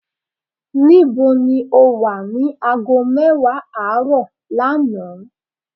ní bó ni o wa ni aago mewa aaro lánàá?